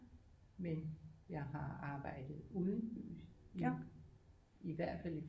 Men jeg har arbejdet udenbys i hvert fald i